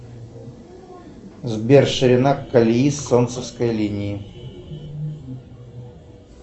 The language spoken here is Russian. сбер ширина колеи солнцевской линии